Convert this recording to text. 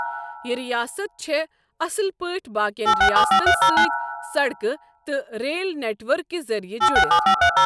یہِ رِیاست چھےٚ اَصٕل پٲٹھۍ باقِیَن رِیاستن سۭتِۍ سڑکہِ تہٕ ریل نٮ۪ٹ ؤرکہِ ذٔریعہٕ جُڑِتھ۔